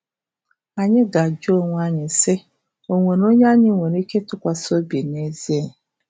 Anyị ga-ajụ onwe anyị sị: ‘O nwere onye anyị nwere ike ịtụkwasị obi n’ezie?